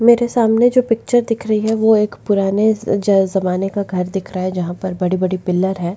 मेरे सामने जो पिक्चर दिख रही है वो एक पुराने जा ज़माने का घर दिखा रहा है जहाँ पर बड़े बड़े पिलर है।